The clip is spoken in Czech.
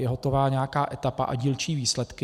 Je hotova nějaká etapa a dílčí výsledky.